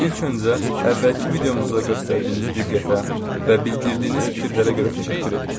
İlk öncə əvvəlki videomuzda göstərdiyiniz diqqətə və bildirdiyiniz fikirlərə görə təşəkkür edirik.